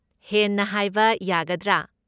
ꯍꯦꯟꯅ ꯍꯥꯏꯕ ꯌꯥꯒꯗ꯭ꯔꯥ?